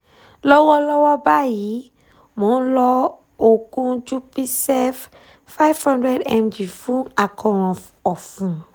lọ́wọ́lọ́wọ́ báyìí mò ń lo oògùn jupicef five hundred mg fún àkóràn ọ̀fun